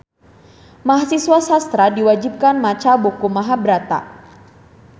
Mahasiswa sastra diwajibkeun maca buku Mahabharata